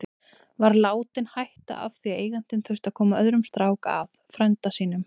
Var látinn hætta af því að eigandinn þurfti að koma öðrum strák að, frænda sínum.